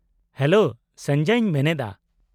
-Hello, ᱥᱚᱧᱡᱚᱭᱤᱧ ᱢᱮᱱᱮᱫᱼᱟ ᱾